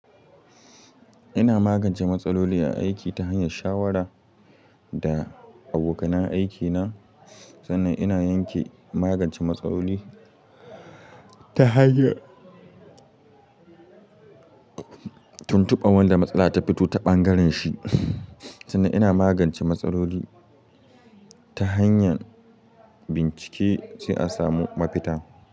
Ina magance matsaloli a aiki ta hanyar shawara da abokan aiki na, sannan ina yanke magance matsaloli ta hanyar tuntuba wanda matsala ta fito ta ɓangaren shi. Tunda ina magance matsaloli ta hanyar bincike sai a samu mafita.